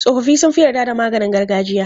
Tsofaffi sun fi yarda da maganin gargajiya.